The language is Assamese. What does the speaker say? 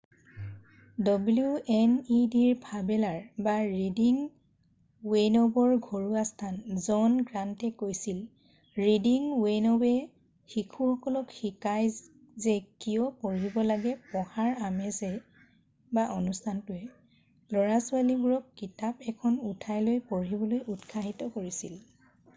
"ডব্লিউ এন ই ডি বাফেলোৰ ৰিডিং ৰেইনব'ৰ ঘৰুৱা স্থান জন গ্ৰান্তে কৈছিল "ৰিডিং ৰেইনব'য়ে শিশুসকলক শিকাই যে কিয় পঢ়িব লাগে পঢ়াৰ আমেজে - অনুষ্ঠানটো ল'ৰা-ছোৱালীবোৰক কিতাপ এখন উঠাই লৈ পঢ়িবলৈ উৎসাহিত কৰিছিল।""